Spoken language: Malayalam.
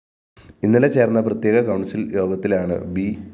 ഇന്നലെ ചേര്‍ന്ന പ്രത്യക കൗണ്‍സില്‍ യോഗത്തിലാണ് ബി